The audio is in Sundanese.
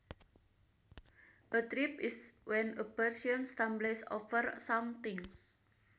A trip is when a person stumbles over something